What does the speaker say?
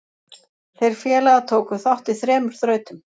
Þeir félagar tóku þátt í þremur þrautum.